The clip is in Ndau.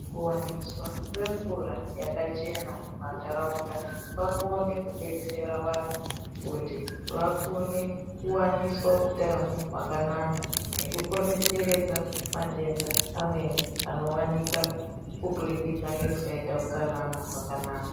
Kuwaniswa kwemvura yakachena mumantaraunda, kwaakone kudetsera vantu kuti vakone kuwaniswa utano hwakanaka, nekukone kuderedza matenda amweni anowanika kuburikidza ngekusaita utsanana hwakanaka.